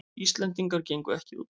Íslendingar gengu ekki út